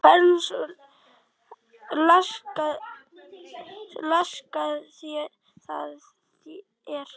Hversu laskað það er?